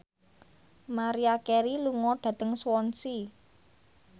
Maria Carey lunga dhateng Swansea